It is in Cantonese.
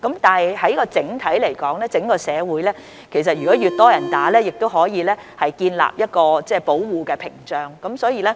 不過，整體而言，當整個社會有越來越多市民接種疫苗後，這亦可以建立出保護屏障。